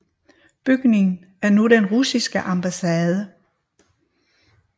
Bygningen er nu den russiske ambassade